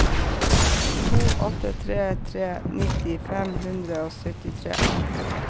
to åtte tre tre nitti fem hundre og syttitre